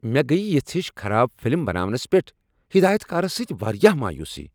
مےٚ گٔیۍ یژھ ہِش خراب فِلم بناونس پیٹھ ہدایتکارس سۭتہِ واریاہ مایوٗسی ۔